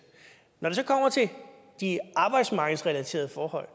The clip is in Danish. når det så kommer til de arbejdsmarkedsrelaterede forhold